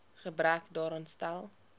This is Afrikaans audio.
gebrek daaraan stel